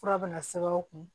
Fura bɛna sɛbɛn aw kun